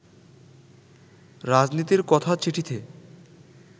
রাজনীতির কথা চিঠিতে